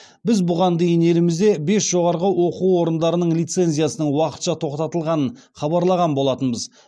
біз бұған дейін елімізде бес жоғарғы оқу орындарының лицензиясының уақытша тоқтатылғанын хабарлаған болатынбыз